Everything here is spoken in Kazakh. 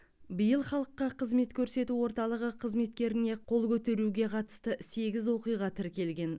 биыл халыққа қызмет көрсету орталығы қызметкеріне қол көтеруге қатысты сегіз оқиға тіркелген